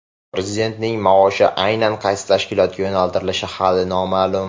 Prezidentning maoshi aynan qaysi tashkilotga yo‘naltirilishi hali noma’lum.